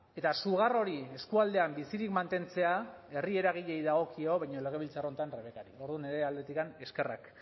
eta sugar hori eskualdean bizirik mantentzea herri eragileei dagokio baina legebiltzar honetan rebekari orduan nire aldetik eskerrak